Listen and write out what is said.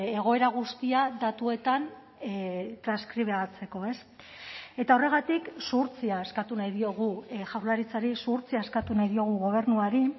egoera guztia datuetan transkribatzeko eta horregatik zuhurtzia eskatu nahi diogu jaurlaritzari zuhurtzia eskatu nahi diogu gobernuari